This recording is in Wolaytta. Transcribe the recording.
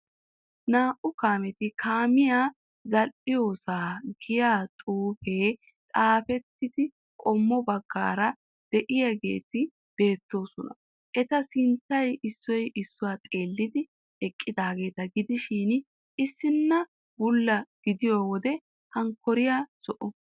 Naa''u kaameti kaamiya zal''iyosaa giya xuufee etappee qommo baggaara de'iyogeeti beettoosona. Eta sinttay issoy issuwa xeellidi eqqidaageeta gidishin issinna bulla gidiyo wode hankkora zo'o